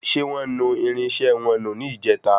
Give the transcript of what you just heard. Ṣé wọ́n nu irinṣẹ́ wọn nù ní ìjèta?